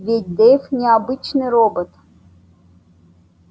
ведь дейв не обычный робот